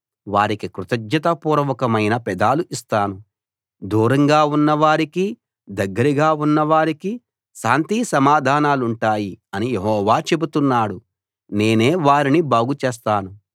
వారికి కృతజ్ఞతాపూర్వకమైన పెదాలు ఇస్తాను దూరంగా ఉన్నవారికీ దగ్గరగా ఉన్నవారికీ శాంతి సమాధానాలుంటాయి అని యెహోవా చెబుతున్నాడు నేనే వారిని బాగుచేస్తాను